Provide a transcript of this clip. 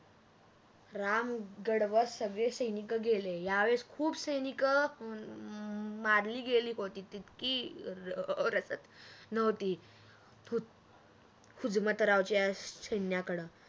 राम गडवर सगळे सैनिक केले या वेळेस खूप सैनिक मारली गेली होती अं इतकी रसच नव्हती हुजमतरावच्या सैन्याकड